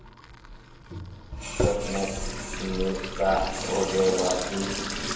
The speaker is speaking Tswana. sacnap mme tsa rebolwa ke